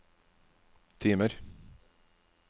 timer